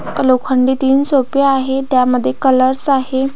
लोखंडी तीन सोफे आहे त्यामध्ये कलर्स आहे.